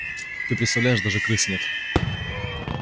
ты представляешь даже крыс нет